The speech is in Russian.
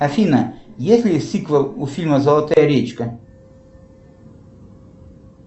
афина есть ли сиквел у фильма золотая речка